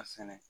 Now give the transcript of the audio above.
A sɛnɛ